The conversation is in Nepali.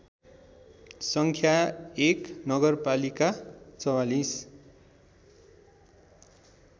सङ्ख्या १ नगरपालिका ४४